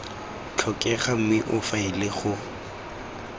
tlhokega mme o faele go